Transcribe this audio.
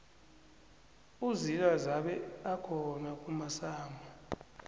uzila zabe akhona kumasama